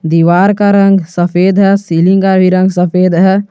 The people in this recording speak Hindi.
दीवार का रंग सफेद है सीलिंग का भी रंग सफेद है।